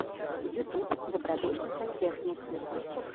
ютуб добродушный сантехник